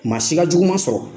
Masi ka jugu ma sɔrɔ.